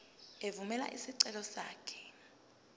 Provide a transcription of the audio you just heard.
evumela isicelo sakho